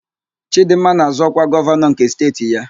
Chịdịmma na-azọ ọkwa gọvanọ nke steeti ya.